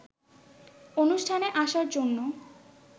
অনুষ্ঠানে আসার জন্য